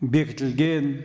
бекітілген